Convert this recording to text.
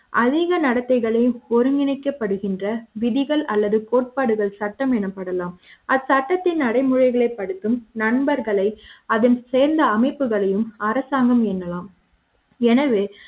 அதிக நடத்தைகளை ஒருங்கிணைக்கப்படுகின்ற விதிகள் அல்லது கோட்பாடுகள் சட்டம் எனப்படலாம் அது சட்டத்தின் நடைமுறைகள் ஏற்படுத்தும் நண்பர்களை அதன் சேர்ந்த அமைப்புகளையும் அரசாங்க ம் என்னலாம் எனவே